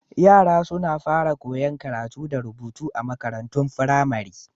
Yara suna fara koyan karatu da rubutu a makarantun firamare.